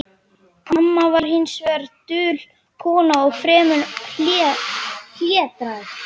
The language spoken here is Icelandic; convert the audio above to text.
Amma var hins vegar dul kona og fremur hlédræg.